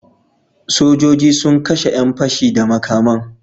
Sojoji sun kashe yan pashe da makaman